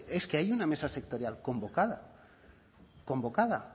es que hay una mesa sectorial convocada convocada